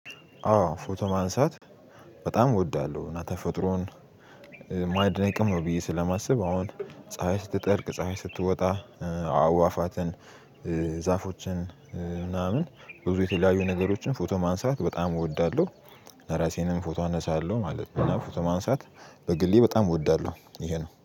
አዎ ፎቶ ማንሳት በጣም እወዳለሁ እና ተፈጥሮን ማድነቅም ነው ብዬ ስለማስብ አሁን ፀሀይ ስትጠልቅ ፀሀይ ስትወጣ አዋፋትን ዛፎችን ምናምን ብዙ የተለያዩ ነገሮችን ፎቶ ማንሳት በጣም እወዳለሁ። እራሴንም ፎቶ አነሳለሁ ማለት ነው ፎቶ ማንሳት በግሌ በጣም እወዳለሁ ይሄ ነው።